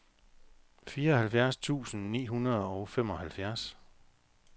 fireoghalvfjerds tusind ni hundrede og femoghalvfjerds